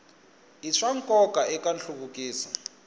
i swa nkoka eka nhluvukiso